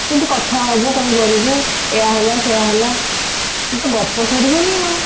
କେମିତି କଥା ହବୁ କଣ କରିବୁ ଏଇଆ ହେଲା ସେଇଆ ହେଲା ଏଇ ତ ଗପ ସରିବନି ଆଉ